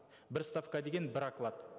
бір ставка деген бір оклад